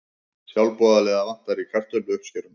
Sjálfboðaliða vantar í kartöfluuppskeruna